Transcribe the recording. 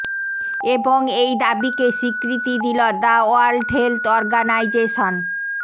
এবং এই দাবিকে স্বীকৃতি দিল দ্য ওয়ার্ল্ড হেলথ অর্গানাইজেশেন